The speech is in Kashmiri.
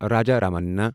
راجا رَمننا